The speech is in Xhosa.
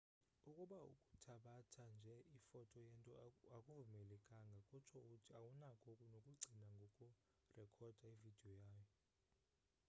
ukuba ukuthabatha nje ifoto yento akuvumelekanga kutsho uthi awunako nokucinga ngokurekhoda ividiyo yayo